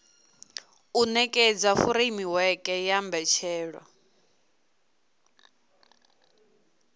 u nekedza furemiweke ya mbetshelwa